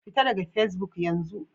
Fita daga Fesbuk yanzu!